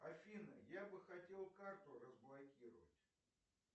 афина я бы хотел карту разблокировать